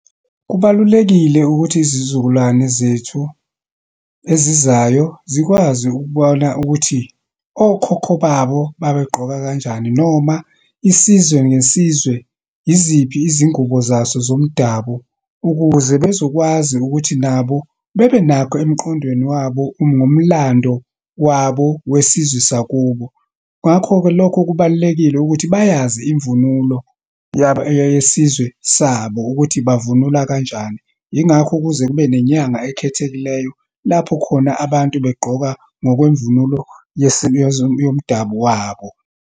Kubalulekile ukuthi izizukulwane zethu ezizayo, zikwazi ukubona ukuthi okhokho babo babegqoka kanjani, noma isizwe ngesizwe, yiziphi izingubo zaso zomdabu ukuze bezokwazi ukuthi nabo bebenakho emqondweni wabo ngomlando wabo wesizwe sakubo. Ngakho-ke, lokho kubalulekile ukuthi bayazi imvunulo yesizwe sabo, ukuthi bavunula kanjani. Yingakho kuze kube nenyanga ekhethekileyo, lapho khona abantu begqoka ngokwemvula yomdabu wabo.